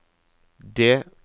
D